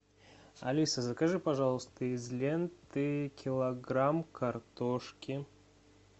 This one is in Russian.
алиса закажи пожалуйста из ленты килограмм картошки